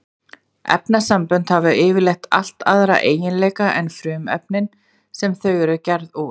Efnasambönd hafa yfirleitt allt aðra eiginleika en frumefnin sem þau eru gerð úr.